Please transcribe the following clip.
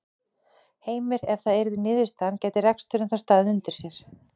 Heimir: Ef það yrði niðurstaðan gæti reksturinn þá staðið undir sér?